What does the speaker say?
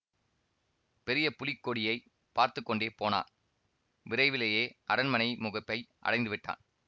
பெரிய புலிக் கொடியை பார்த்து கொண்டே போனான் விரைவிலேயே அரண்மனை முகப்பை அடைந்து விட்டான்